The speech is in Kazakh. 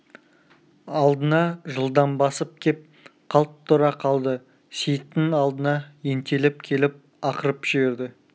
алдына жылдам басып кеп қалт тұра қалды сейіттің алдына ентелеп келіп ақырып жіберді